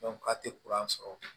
a tɛ sɔrɔ